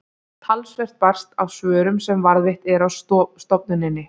talsvert barst af svörum sem varðveitt eru á stofnuninni